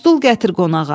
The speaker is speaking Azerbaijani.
Stul gətir qonağa.